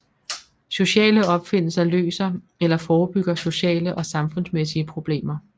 Sociale opfindelser løser eller forebygger sociale og samfundsmæssige problemer